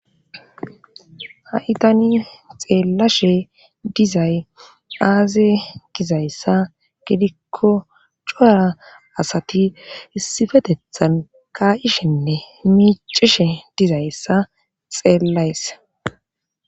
Haitani xeellashe dizay aaze gizayssa gidikko coara asati issifetethan kayishenne miicishe dizayssa xeellays.